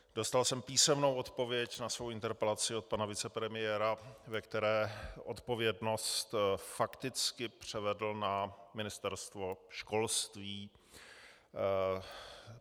Dostal jsem písemnou odpověď na svoji interpelaci od pana vicepremiéra, ve které odpovědnost fakticky převedl na Ministerstvo školství.